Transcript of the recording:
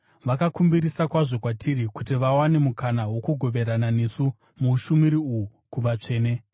vakakumbirisa kwazvo kwatiri kuti vawane mukana wokugoverana nesu muushumiri uhu kuvatsvene.